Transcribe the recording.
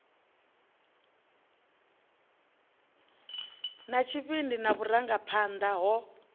na tshivhindi na vhurangaphanḓa ho